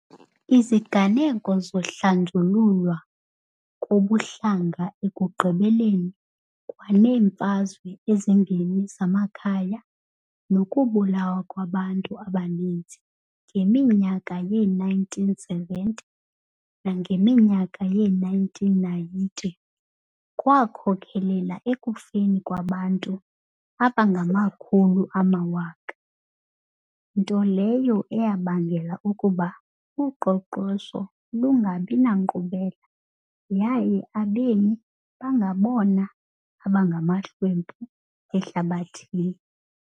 Iziganeko zokuhlanjululwa kobuhlanga ekugqibeleni kwaneemfazwe ezimbini zamakhaya nokubulawa kwabantu abaninzi ngeminyaka yee -1970 nangeminyaka yee -1990 kwakhokelela ekufeni kwabantu abangamakhulu amawaka, nto leyo eyabangela ukuba uqoqosho lungabi nankqubela yaye abemi bangabona bangamahlwempu ehlabathini .